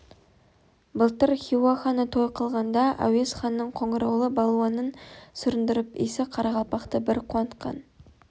былтыр хиуа ханы той қылғанда әуез ханның қоңыраулы балуанын сүріндіріп иісі қарақалпақты бір қуантқан